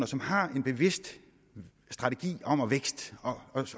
som har en bevidst strategi om at skabe vækst